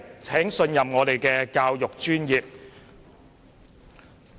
請信任我們的教育專業。